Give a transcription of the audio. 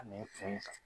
A n'i fɛn